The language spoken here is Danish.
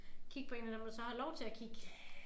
Kigge på 1 af dem der så har lov til at kigge